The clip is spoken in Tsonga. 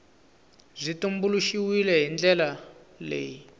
byi tumbuluxiwile hi ndlela leyi